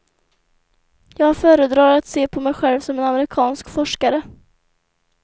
Jag föredrar att se på mig själv som en amerikansk forskare.